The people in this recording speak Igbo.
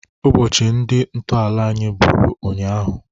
Ụbọchị ndị ntọala anyị bụrụ ụnyaahụ.